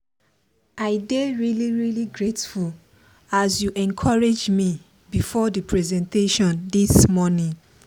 i dey really really grateful as you encourage me before the presentation this morning.